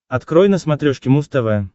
открой на смотрешке муз тв